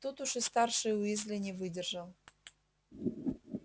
тут уж и старший уизли не выдержал